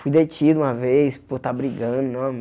Fui detido uma vez por estar brigando.